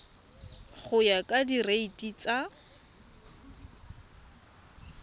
go ya ka direiti tsa